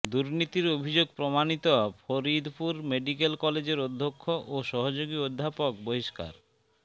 দুর্নীতির অভিযোগ প্রমাণিত ফরিদপুর মেডিকেল কলেজের অধ্যক্ষ ও সহযোগী অধ্যাপক বহিষ্কার